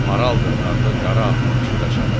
Maral dırnaqlı qara atını çölə çapdı.